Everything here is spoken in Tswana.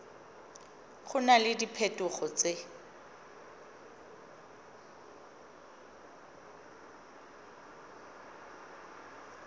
go na le diphetogo tse